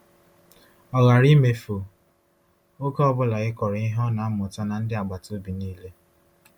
Ọ ghara imefu oge ọ bụla ịkọrọ ihe ọ na-amụta ndị agbata obi niile.